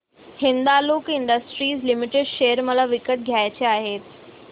Hindalco industries limited share मला विकत घ्यायचे आहेत